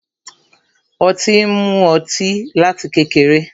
Ó ti ń mú ọtí láti kékeré.